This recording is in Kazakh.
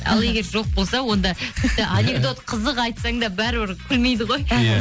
ал егер жоқ болса онда тіпті анекдот қызық айтсаң да бәрібір күлмейді ғой іхі иә